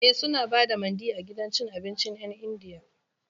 E, suna ba da Mandi a gidan cin abincin 'yan Indiyan.